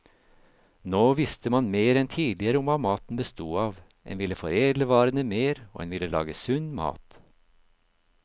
Nå visste man mer enn tidligere om hva maten bestod av, en ville foredle varene mer, og en ville lage sunn mat.